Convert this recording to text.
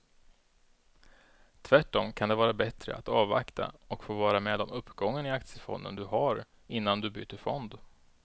Tvärtom kan det vara bättre att avvakta och få vara med om uppgången i aktiefonden du har innan du byter fond.